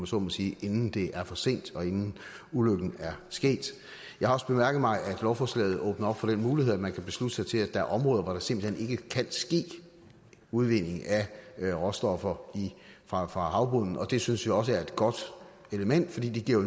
så må sige inden det er for sent og inden ulykken er sket jeg har også bemærket mig at lovforslaget åbner op for den mulighed at man kan beslutte sig til at der er områder hvor der simpelt kan ske udvinding af råstoffer fra havbunden og det synes vi også er et godt element for det giver